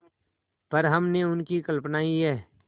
पर हमने उनकी कल्पना ही है